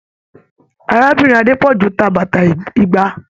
Arábìnrin Adepoju tá bàtà igba.